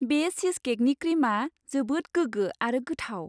बे चीजकेकनि क्रिमआ जोबोद गोगो आरो गोथाव।